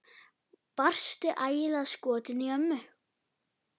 Varstu ægilega skotinn í ömmu?